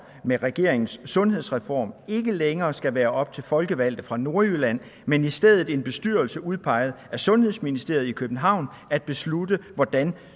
med regeringens sundhedsreform ikke længere skal være op til folkevalgte fra nordjylland men i stedet en bestyrelse udpeget af sundhedsministeriet i københavn at beslutte hvordan